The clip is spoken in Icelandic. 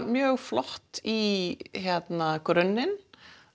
mjög flott í grunninn